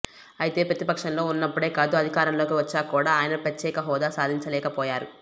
అయితే ప్రతిపక్షంలో ఉన్నప్పుడే కాదు అధికారంలోకి వచ్చాక కూడా ఆయన ప్రత్యేకహోదా సాధించ లేకపోయారు